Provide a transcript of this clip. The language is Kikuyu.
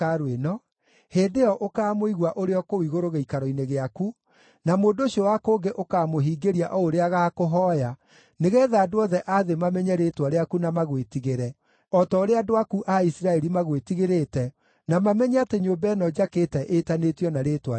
hĩndĩ ĩyo ũkaamũigua ũrĩ o kũu igũrũ gĩikaro-inĩ gĩaku, na mũndũ ũcio wa kũngĩ ũkaamũhingĩria o ũrĩa agakũhooya, nĩgeetha andũ othe a thĩ mamenye rĩĩtwa rĩaku na magwĩtigĩre, o ta ũrĩa andũ aku a Isiraeli magwĩtigĩrĩte, na mamenye atĩ nyũmba ĩno njakĩte, ĩtanĩtio na Rĩĩtwa rĩaku.